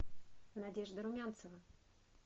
надежда румянцева